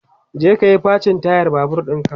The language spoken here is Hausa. je kayi facin tayar Babur ɗinka!